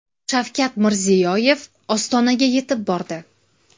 Shavkat Mirziyoyev Ostonaga yetib bordi.